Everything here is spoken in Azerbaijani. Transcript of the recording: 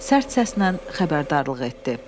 Sərt səslə xəbərdarlıq etdi.